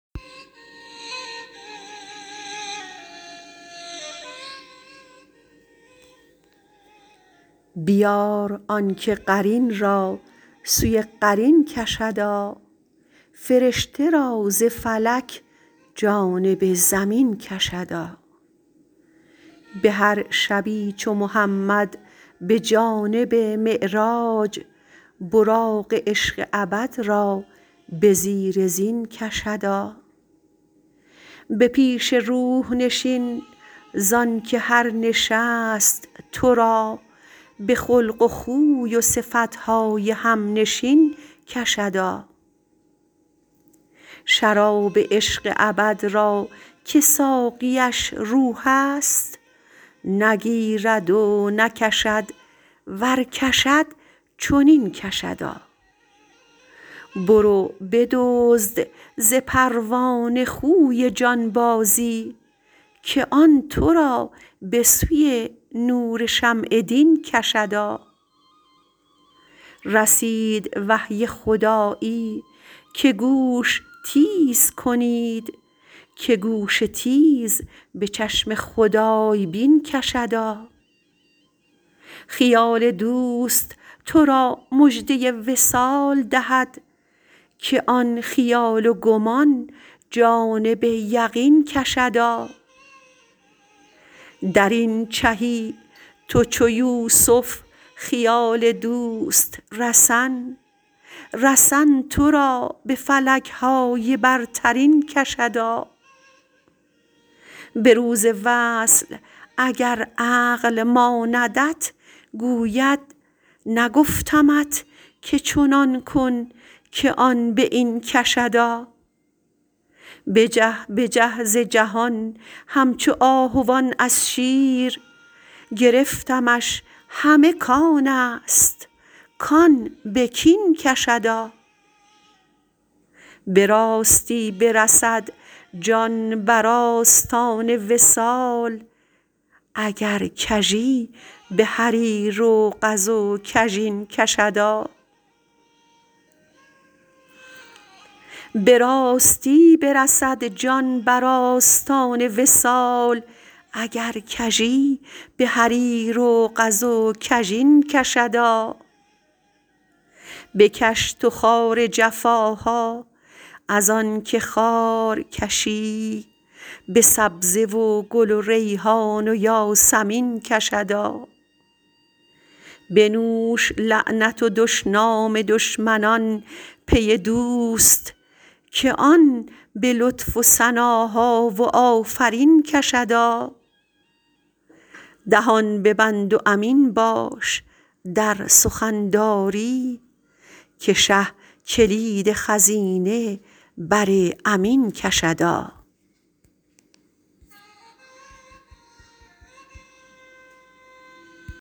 بیار آن که قرین را سوی قرین کشدا فرشته را ز فلک جانب زمین کشدا به هر شبی چو محمد به جانب معراج براق عشق ابد را به زیر زین کشدا به پیش روح نشین زان که هر نشست تو را به خلق و خوی و صفت های همنشین کشدا شراب عشق ابد را که ساقیش روح است نگیرد و نکشد ور کشد چنین کشدا برو بدزد ز پروانه خوی جانبازی که آن تو را به سوی نور شمع دین کشدا رسید وحی خدایی که گوش تیز کنید که گوش تیز به چشم خدای بین کشدا خیال دوست تو را مژده وصال دهد که آن خیال و گمان جانب یقین کشدا در این چهی تو چو یوسف خیال دوست رسن رسن تو را به فلک های برترین کشدا به روز وصل اگر عقل ماندت گوید نگفتمت که چنان کن که آن به این کشدا بجه بجه ز جهان همچو آهوان از شیر گرفتمش همه کان است کان به کین کشدا به راستی برسد جان بر آستان وصال اگر کژی به حریر و قز کژین کشدا بکش تو خار جفاها از آن که خارکشی به سبزه و گل و ریحان و یاسمین کشدا بنوش لعنت و دشنام دشمنان پی دوست که آن به لطف و ثناها و آفرین کشدا دهان ببند و امین باش در سخن داری که شه کلید خزینه بر امین کشدا